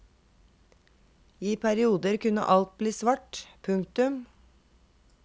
I perioder kunne alt bli svart. punktum